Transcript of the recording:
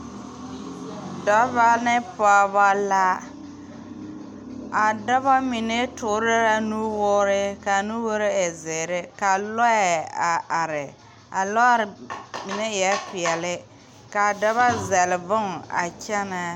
Dɔba ne pɔgeba la , a dɔba mine toɔre la nu wɔɔre ka nuwɔɔre e zeɛre, ka lɔɛ a are, a lɔɛ mine eɛ pɛɛle, kaa dɔba zele bon a kyɛne .